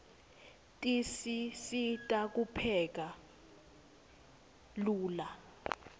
tisisita kupheka lula